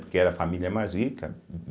Porque era a família mais rica.